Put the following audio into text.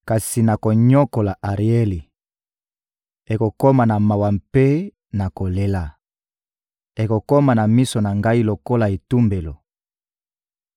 Kasi nakonyokola Arieli; ekokoma na mawa mpe na kolela; ekokoma na miso na Ngai lokola etumbelo.